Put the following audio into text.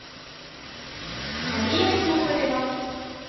мария сухарева